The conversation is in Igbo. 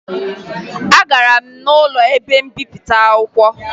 Agara m n'ụlọ ebe mbipụta akwụkwọ